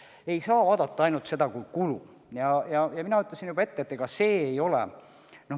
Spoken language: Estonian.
Seda ei saa vaadata ainult kui kulu ja nagu ma ütlesin, ega see nii ei olegi.